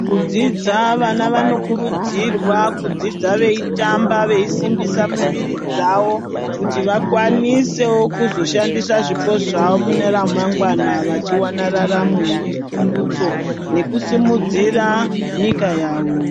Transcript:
Mukudzidza vana vanokurudzirwa kudzidza veitamba veisimbisa miviri dzawo kuti vakwanisewo kuzoshandisa zvipo zvawo mune ramangwana vachiwana raramo nepundutso nekusimudzira nyika yawo.